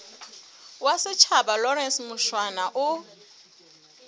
wa setjhaba lawrence mushwana o